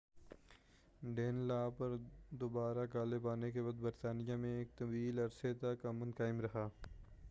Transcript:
ڈین law پر دوبارہ غالب آنے کے بعد برطانیہ میں ایک طویل عرصے تک امن قائم رہا